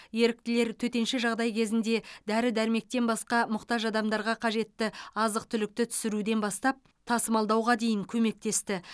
еріктілер төтенше жағдай кезінде дәрі дәрмектен басқа мұқтаж адамдарға қажетті азық түлікті түсіруден бастап тасымалдауға дейін көмектесті